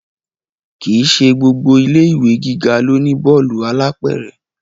Kì í ṣe gbogbo ilé ìwé gíga ló ní bọ́ọ̀lù alápẹ̀rẹ̀